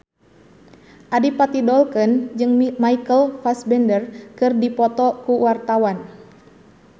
Adipati Dolken jeung Michael Fassbender keur dipoto ku wartawan